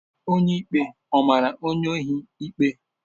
Onye ikpe ọ mara onye ohi ikpe?